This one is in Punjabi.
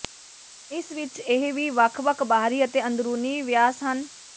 ਇਸ ਵਿਚ ਇਹ ਵੀ ਵੱਖ ਵੱਖ ਬਾਹਰੀ ਅਤੇ ਅੰਦਰੂਨੀ ਵਿਆਸ ਹਨ